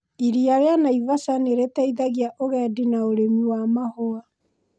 Iria rĩa Naivasha nĩ rĩteithagia ũgedi na ũrĩmi wa mahũa.